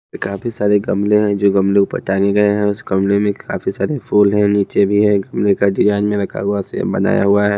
काफी सारे गमले हैं जो गमले ऊपर टांगे गए हैं उस गमले में काफी सारे फूल है नीचे भी है गमले का डिजाइन में रखा हुआ से बनाया हुआ है।